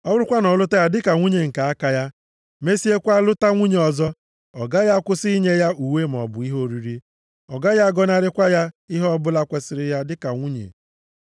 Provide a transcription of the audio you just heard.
Ọ bụrụkwa na ọ lụta ya dịka nwunye nke aka ya, mesịakwa lụta nwunye ọzọ, ọ gaghị akwụsị inye ya uwe maọbụ ihe oriri. Ọ gaghị agọnarịkwa ya ihe ọbụla kwesiri ya dịka nwunye.